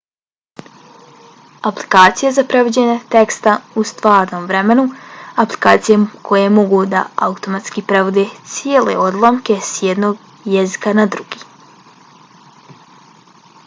aplikacije za prevođenje teksta u stvarnom vremenu - aplikacije koje mogu da automatski prevode cijele odlomke s jednog jezika na drugi